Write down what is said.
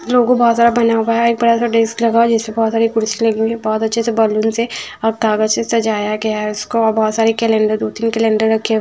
लोगो बहोत सारा भना हुआ है एक बड़ा सा डेस्क लगा हुआ है जिसमे बहोत सारी कुर्सी लगी हुई है जिसमे बहोत अच्छे से बलून्स है और कागज से सजाया गया है इसको और बहोत सारे केलेंडर दो तिन केलेंडर रखे ही है।